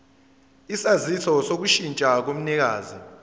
isaziso sokushintsha komnikazi